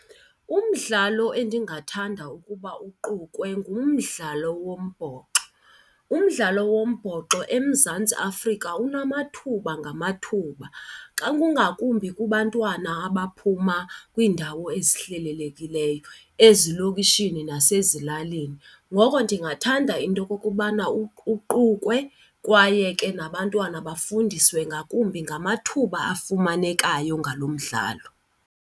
Umdlalo endingathanda ukuba uqukwe ngumdlalo wombhoxo. Umdlalo wombhoxo eMzantsi Afrika unamathuba ngamathuba xa, kungakumbi kubantwana abaphuma kwiindawo ezihlelelekileyo ezilokishini nasezilalini. Ngoko ndingathanda into yokokubana uqukwe kwaye ke nabantwana bafundiswe ngakumbi ngamathuba afumanekayo ngalo mdlalo.